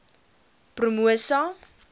promosa